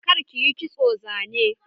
Kar kiyi kitson zane!